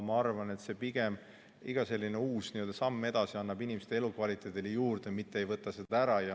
Ma arvan, et pigem iga uus samm edasi annab inimeste elukvaliteedile midagi juurde, mitte ei võta sellest midagi ära.